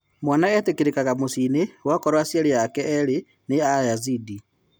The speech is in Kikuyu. Mwana etĩkĩrĩkaga mũciĩni wakorũo aciari ake erĩ ni Ayazidi.